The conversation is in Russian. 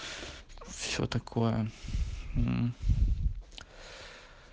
все такое